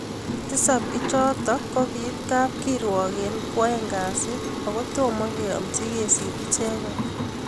tisab ichoto kokiit kakirwok eng kwoeng kasi okotobo keamchi kesit icheget